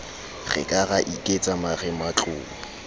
re ka ra iketsa marematlou